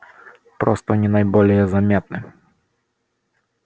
просто они наиболее заметны